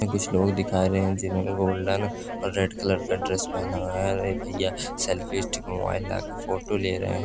कुछ लोग दिखाय रहे हैं जिन्होंने गोल्डन और रेड कलर का ड्रेस पहना हुआ है और एक भैया सेल्फ़ी स्टिक मोबाईल लाकर सेल्फ़ी ले रहे हैं